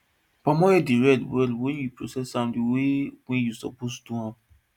palm oil dey red well wen you process am d way wey you suppose do am